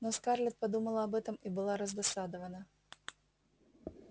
но скарлетт подумала об этом и была раздосадована